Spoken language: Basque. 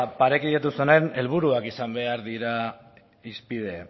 parekidetu zenean helburuak izan behar dira hizpide